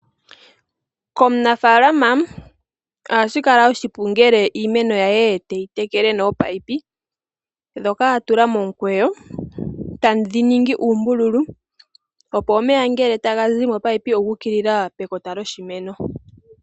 Komunafaalama ohashi kala oshipu ngele iimeno ye teyi tekele nominino. Ndhoka atula momukweyo etedhi ningi uumbululu opo omeya ngele taga zi momunino oguukilila pe kota lyoshimeno.